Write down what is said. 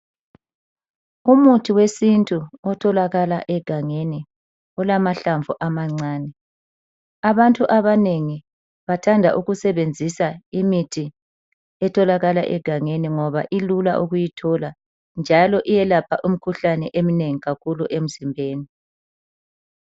Umuthi wesintu otholakala egangeni olamahlamvu amancane .Abantu abanengi bathanda ukusebenzisa imithi etholakala egangeni ngoba ilula ukuyithola njalo iyelapha umkhuhlane eminengi kakhulu emzimbeni.